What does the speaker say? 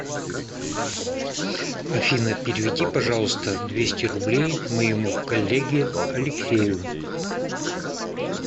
афина переведи пожалуйста двести рублей моему коллеге алексею